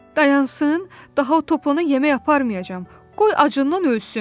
Dayansın, daha o Toplana yemək aparmayacam, qoy acından ölsün.